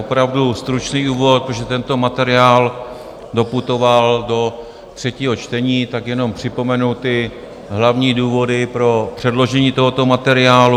Opravdu stručný úvod, protože tento materiál doputoval do třetího čtení, tak jenom připomenu ty hlavní důvody pro předložení tohoto materiálu.